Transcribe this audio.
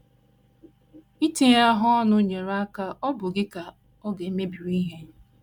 Itinyere ha ọnụ yiri ka ọ̀ bụ gị ka ọ ga - emebiri ihe.